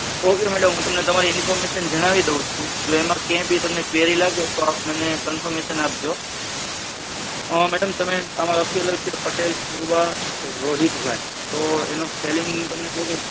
ok madam હું તમને તમારી information જણાવી દઉં છું એમાં કઈ ભી query લાગે તો આપ મને confirmation આપજો madam તમે આમાં લાખિયું છે પટેલ પૂર્વા રોહિતભાઈ એનો spelling તમને કહી દઉં.